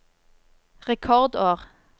rekordår